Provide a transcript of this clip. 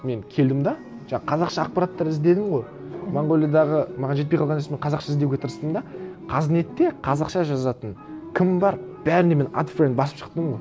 мен келдім де жаңа қазақша ақпараттар іздедім ғой монғолиядағы маған жетпей қалған іс мен қазақша іздеуге тырыстым да қазнетте қазақша жазатын кім бар бәріне мен адд френд басып шықтым